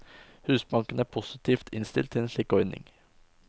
Husbanken er positivt innstilt til en slik ordning.